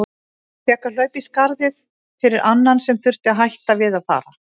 Ég fékk að hlaupa í skarðið fyrir annan sem þurfti að hætta við að fara.